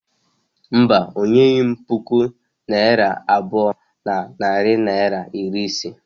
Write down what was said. Mba, o nyeghị m puku naira abụọ na narị naịra iri ise.